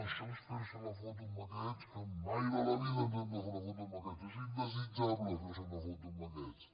això és ferse la foto amb aquests que mai de la vida ens hem de fer una foto amb aquests és indesitjable ferse una foto amb aquests